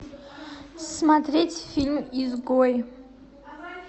смотреть фильм изгой